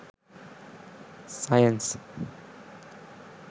science